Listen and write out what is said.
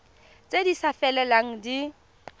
tse di sa felelang di